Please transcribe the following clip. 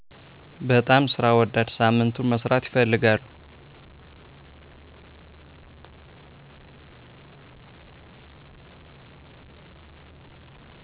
በጣም ስራ ወዳድ ሳምንቱን መስራት ይፈልጋሉ